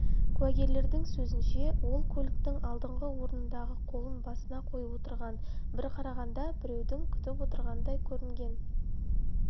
куәгерлердің сөзінше ол көліктің алдыңғы орындығында қолын басына қойып отырған бір қарағанда біреуді күтіп отырғандай көрінген